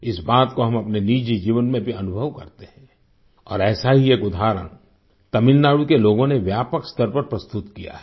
इस बात को हम अपने निजी जीवन में भी अनुभव करते हैं और ऐसा ही एक उदाहरण तमिलनाडु के लोगों ने व्यापक स्तर पर प्रस्तुत किया है